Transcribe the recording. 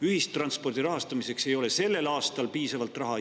Ühistranspordi rahastamiseks ei ole sellel aastal piisavalt raha.